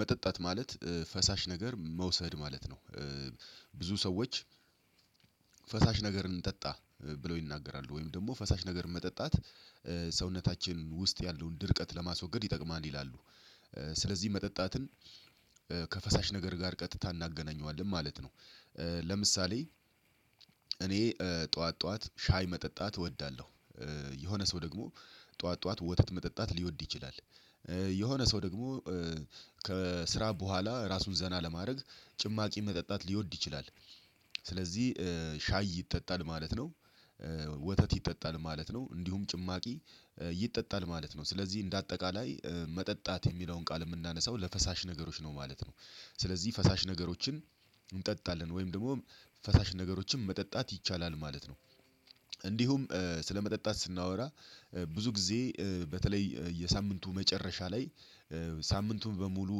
መጠጣት ማለት ፈሳሽ ነገር መውሰድ ማለት ነው። ብዙ ሰዎች ፈሳሽ ነገር እንጠጣ ብለው ይናገራሉ ወይም ደግሞ ፈሳሽ ነገር መጠጣት ሰውነታችን ውስጥ ያለውን ድርቀት ለማስወገድ ይጠቅማል ይላሉ። ስለዚህ መጠጣትን ከፈሳሽ ነገር ጋር ቀጥታ እናገናኘዋለን ማለት ነው። ለምሳሌ እኔ ጠዋት ጠዋት ሻይ መጠጣት እወዳለሁ። የሆነ ሰው ደግሞ ጠዋት ጠዋት ወተት መጠጣት ሊወድ ይችላል። የሆነ ሰው ደግሞ ከስራ በኋላ ራሱን ዘና ለማድረግ ጭማቂ መጠጣት ሊወድ ይችላል። ስለዚህ ሻይ ይጠጣል ማለት ነው ወተት ይጠጣል ማለት ነው እንዲሁም ጭማቂ ይጠጣል ማለት ነው ስለዚህ እንደ አጠቃላይ መጠጣት የሚለውን ቃል የምናነሳው ለፈሳሽ ነገሮች ነው ማለት ነው። ስለዚህ ፈሳሽ ነገሮችን እንጠጣለን ወይም ደግሞ ፈሳሽ ነገሮችን መጠጣት ይቻላል ማለት ነው። እንዲሁም ስለመጠጣት ስናወራ ብዙ ጊዜ በተለይ የሳምንቱ መጨረሻ ላይ ሳምንቱን በሙሉ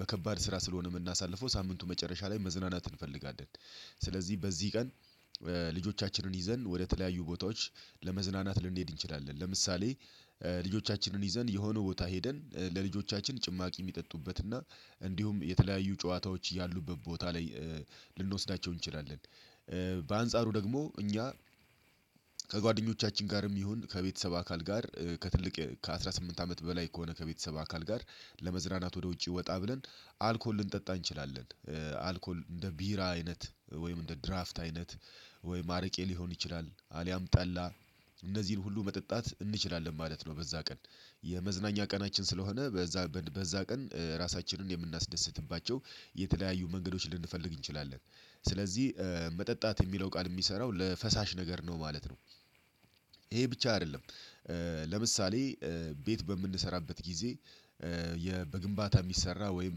በከባድ ስራ ስለሆነ የምናሳልፈው ሳምንቱ መጨረሻ ላይ መዝናናት እንፈልጋለን። ስለዚህ በዚህ ቀን ልጆቻችንን ይዘን ወደተለያዩ ቦታዎች ለመዝናናት ልንሄድ እንችላለን ለምሳሌ ልጆቻችንን ይዘን የሆነ ቦታ ሄደን ለልጆቻችን ጭማቂ የሚጠጡበት እና እንዲሁም የተለያዩ ጨዋታዎች ያሉበት ቦታ ላይ ልንወስዳቸው እንችላለን። በአንጻሩ ደግሞ እኛ ከጓደኞቻችን ጋርም ይሁን ከቤተሰብ አካል ጋር ከትልቅ ከአሥራ ስምንት አመት በላይ ከሆነ ከቤተሰብ አካል ጋር ለመዝናነት ወደ ውጪ ወጣ ብለን አልኮል ልንጠጣ እንችላለን አልኮል እንደ ቢራ አይነት ወይም እንደ ድራፍት አይነት ወይም አረቄ ሊሆን ይችላል አሊያም ጠላ እነዚህን ሁሉ መጠጣት እንችላለን ማለት ነው። በዛ ቀን የመዝናኛ ቀናችን ስለሆነ በዛ በዛ ቀን እራሳችንን የምናስደስትባቸው የተለያዩ መንገዶች ልንፈልግ እንችላለን። ስለዚህ መጠጣት የሚለው ቃል የሚሰራው ለፈሳሽ ነገር ነው ማለት ነው። ይሄ ብቻ አይደለም። ለምሳሌ ቤት በምንሰራበት ጊዜ በግንባታ የሚሰራ ወይም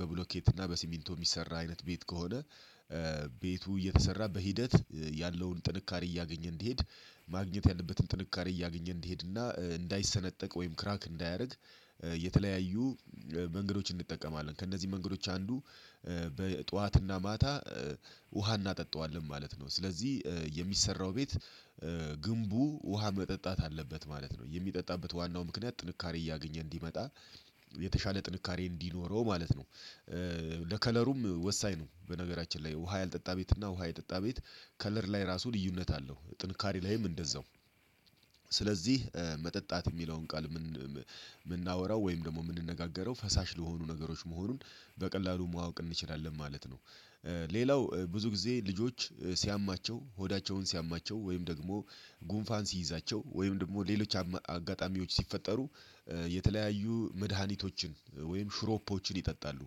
በብሎኬት እና በሲሚንቶ የሚሰራ አይነት ቤት ከሆነ ቤቱ እየተሰራ በሂደት ያለውን ጥንካሬ እያገኘ እንድሄድ ማግኘት ያለበትን ጥንካሬ እያገኘ እንዲሄድና እንዳይሰነጠቅ ወይም ክራክ እንዳያደርግ። የተለያዩ መንገዶችን እንጠቀማለን ከእነዚህ መንገዶች አንዱ በጧትና ማታ ውሃ እናጠጣዋለን ማለት ነው። ስለዚህ የሚሰራው ቤት ግንቡ ውሃ መጠጣት አለበት ማለት ነው የሚጠጣበት ዋናው ምክንያት ጥንካሬ እያገኘ እንዲመጣ የተሻለ ጥንካሬ እንዲኖረው ማለት ነው። ለከለሩም ወሳኝ ነው በነገራችን ላይ ውሃ ያልጠጣ ቤት እና ውሃ የጠጣ ቤት ከለር ላይ ራሱ ልዩነት አለው ጥንካሬ ላይም እንደዛው። ስለዚህ መጠጣት የሚለውን ቃል የምናወራው ወይም ደግሞ የምንነጋገረው ፈሳሽ ለሆኑ ነገሮች መሆኑን በቀላሉ መዋቅ እንችላለን ማለት ነው። ሌላው ብዙ ጊዜ ልጆች ሲያማቸው ሆዳቸውን ሲያማቸው ወይም ደግሞ ጉንፋን ሲይዛቸው ወይም ደግሞ ሌሎች አጋጣሚዎች ሲፈጠሩ የተለያዩ መድሃኒቶችን ወይም ሽሮፖችን ይጠጣሉ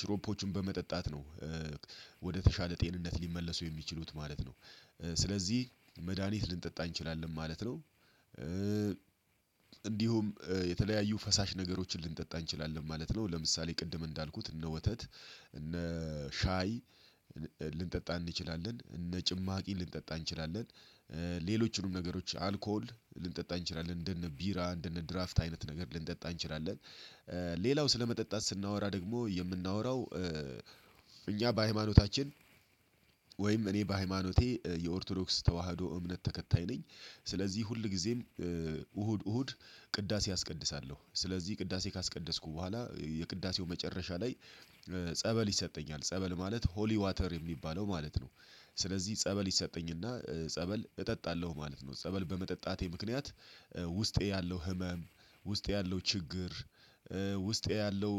ሽሮፖችን በመጠጣት ነው። ወደተሻለ ጤንነት ሊመለሱ የሚችሉት ማለት ነው ስለዚህ መድሃኒት ልንጠጣ እንችላለን ማለት ነው። እንዲሁም የተለያዩ ፈሳሽ ነገሮችን ልንጠጣ እንችላለን ማለት ነው ለምሳሌ ቅድም እንዳልኩት እነ ወተት እነ ሻይ ልንጠጣ እንችላለን እነ ጭማቂ ልንጠጣ እንችላለን ሌሎችንም ነገሮች አልኮል ልንጠጣ እንችላለን እንደነ ቢራ እንደነ ድራፍት አይነት ነገር ልንጠጣ እንችላለን። ሌላው ስለመጠጣት ስናወራ ደግሞ የምናወራው እኛ በሃይማኖታችን ወይም እኔ በሃይማኖቴ የኦርቶዶክስ ተዋህዶ እምነት ተከታይ ነኝ። ስለዚህ ሁል ጊዜ እሁድ እሁድ ቅዳሴ አስቀድሳለሁ ስለዚህ ቅዳሴ ካስቀደስኩ በኋላ የቅዳሴው መጨረሻ ላይ ጸበል ይሰጠኛል ጸበል ማለት ሆሊ ዋተር የሚባለው ማለት ነው። ስለዚህ ጸበል ይሰጠኝና ጸበል እጠጣለሁ ማለት ነው ጸበል በመጠጣቴ ምክንያት ውስጤ ያለው ህመም ውስጤ ያለው ችግር ውስጤ ያለው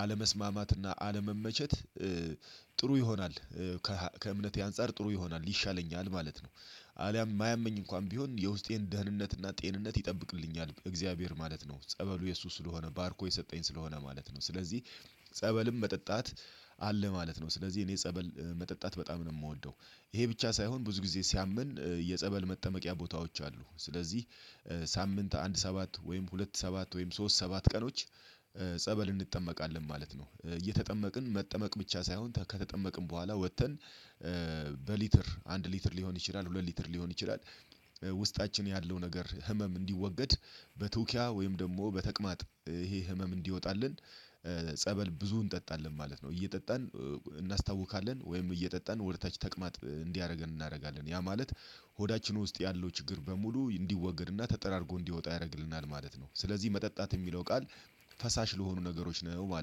አለመስማማትና አለመመቸት ጥሩ ይሆናል ከእምነቴ አንፃር ጥሩ ይሆናል ይሻለኛል ማለት ነው። አሊያም የማያመኝ እንኳን ቢሆን የውስጤን ደህንነትና ጤንነት ይጠብቅልኛል በእግዚአብሔር ማለት ነው ጸበሉ የእሱ ስለሆነ ባርኮ የሰጠኝ ስለሆነ ማለት ነው ስለዚህ ጸበልም መጠጣት አለ ማለት ነው። ስለዚህ እኔ ጸበል መጠጣት በጣም ነው የምወደው። ይሄ ብቻ ሳይሆን ብዙ ጊዜ ሲያመን የጸበል መጠመቂያ ቦታዎች አሉ ስለዚህ ሳምንት አንድ ሰባት ወይም ሁለት ሰባት ወይም ሶስት ሰባት ቀኖች ጸበል እንጠመቃለን ማለት ነው። እየተጠመቅን መጠመቅ ብቻ ሳይሆን ከተጠመቅን በኋላ ወጥተን በሊትር አንድ ሊትር ሊሆን ይችላል ሁለት ሊትር ሊሆን ይችላል። ውስጣችን ያለው ነገር ህመም እንዲወገድ በቱኪያ ወይም ደግሞ በተቅማጥ ይሄ ህመም እንዲወጣልን ጸበል ብዙ እንጠጣለን ማለት ነው። እየጠጣን እናስታውካለን ወይም እየጠጣን ወደታች ተቅማጥ እንዲያደርገን እናደርጋለን ያ ማለት ሆዳችን ውስጥ ያለው ችግር በሙሉ እንዲወግድና ተጠራርጎ እንዲወጣ ያደርግልናል ማለት ነው። ስለዚህ መጠጣት የሚለው ቃል ፈሳሽ ለሆኑ ነገሮች ነው ማለት ነው